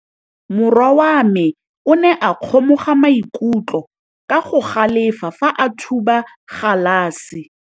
Morwa wa me o ne a kgomoga maikutlo ka go galefa fa a thuba galase.